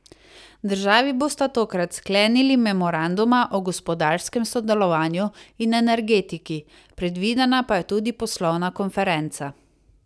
Državi bosta tokrat sklenili memoranduma o gospodarskem sodelovanju in energetiki, predvidena pa je tudi poslovna konferenca.